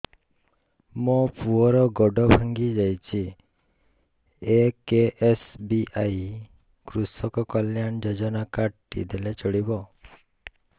ମୋ ପୁଅର ଗୋଡ଼ ଭାଙ୍ଗି ଯାଇଛି ଏ କେ.ଏସ୍.ବି.ୱାଇ କୃଷକ କଲ୍ୟାଣ ଯୋଜନା କାର୍ଡ ଟି ଦେଲେ ଚଳିବ